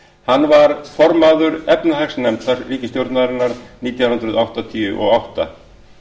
hann var formaður efnahagsnefndar ríkisstjórnarinnar nítján hundruð áttatíu og átta